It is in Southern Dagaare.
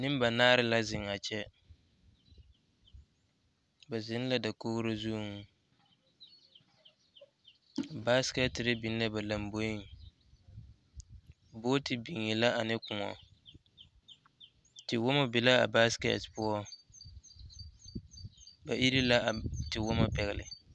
Nembanaare la zeŋ a kyɛ, ba zeŋ la dakogiri zuŋ basikɛtere biŋ la ba lomboriŋ booti biŋee la ane kõɔ tewɔmɔ be la a basikɛte poɔŋ ba iri la a tewɔmɔ pɛgele.